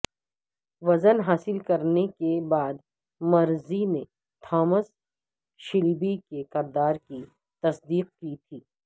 وزن حاصل کرنے کے بعد مرفی نے تھامس شیلبی کے کردار کی تصدیق کی تھی